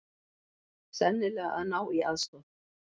Sennilega að ná í aðstoð.